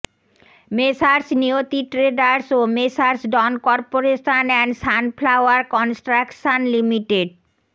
messrs Niyati traders ও messrs Don corporation and sunflower construction Li